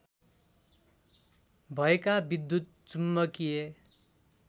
भएका विद्युत् चुम्बकीय